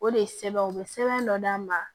O de ye sɛbɛn u be sɛbɛn dɔ d'a ma